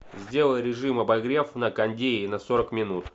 сделай режим обогрев на кондее на сорок минут